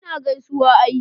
ina gaisuwa ai